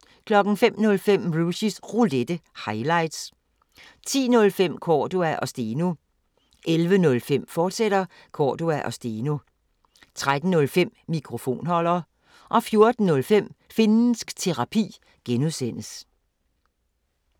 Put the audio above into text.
05:05: Rushys Roulette – highlights 10:05: Cordua & Steno 11:05: Cordua & Steno, fortsat 13:05: Mikrofonholder 14:05: Finnsk Terapi (G)